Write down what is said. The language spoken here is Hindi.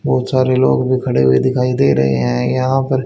बहुत सारे लोग भी खड़े हुए दिखाई दे रहे हैं यहां पर।